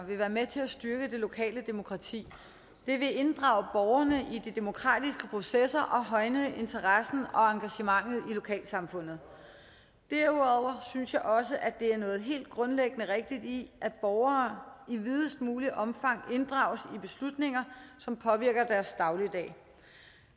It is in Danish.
vil være med til at styrke det lokale demokrati det vil inddrage borgerne i de demokratiske processer og højne interessen og engagementet i lokalsamfundet derudover synes jeg også at der er noget helt grundlæggende rigtigt i at borgere i videst muligt omfang inddrages i beslutninger som påvirker deres dagligdag